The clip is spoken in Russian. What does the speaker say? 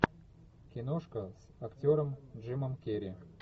киношка с актером джимом керри